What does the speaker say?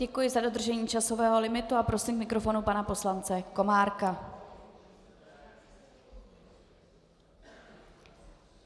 Děkuji za dodržení časového limitu a prosím k mikrofonu pana poslance Komárka.